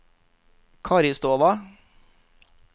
Karistova